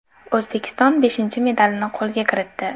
O‘zbekiston beshinchi medalini qo‘lga kiritdi.